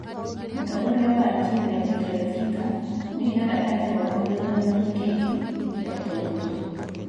Mũtongoria wa Algeria, Bouteflika nĩ oigaga atĩ ndangĩrũgama gĩthuranoinĩ kĩngĩ kĩa ũtongoria